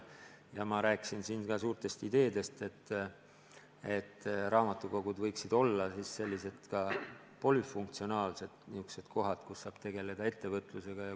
Ma rääkisin siin ka suurtest ideedest, et raamatukogud võiksid olla sellised polüfunktsionaalsed kohad, kus saab tegeleda ka ettevõtlusega.